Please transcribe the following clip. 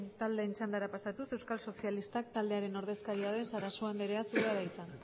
taldeen txandara pasatuz euskal sozialistak taldearen ordezkaria den sarasua anderea zurea da hitza